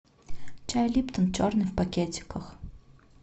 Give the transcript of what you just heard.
чай липтон черный в пакетиках